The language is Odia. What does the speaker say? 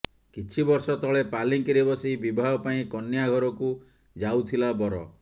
କିଛି ବର୍ଷ ତଳେ ପାଲିଙ୍କିରେ ବସି ବିବାହ ପାଇଁ କନ୍ୟା ଘରକୁ ଯାଉଥିଲା ବର